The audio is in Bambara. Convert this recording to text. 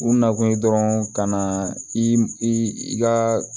U nakun ye dɔrɔn ka na i ka